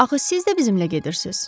Axı siz də bizimlə gedirsiz?